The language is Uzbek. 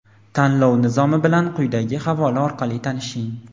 Tanlov Nizomi bilan quyidagi havola orqali tanishing!.